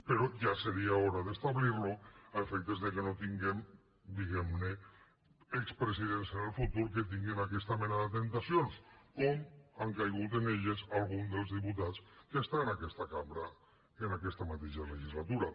però ja seria hora d’establir ho a efectes que no tinguem diguem ne expresidents en el futur que tinguin aquesta mena de temptacions com han caigut en elles alguns dels diputats que estan en aquesta cambra en aquesta mateixa legislatura